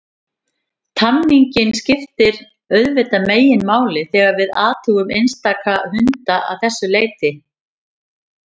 Tamningin skiptir auðvitað meginmáli þegar við athugum einstaka hunda að þessu leyti.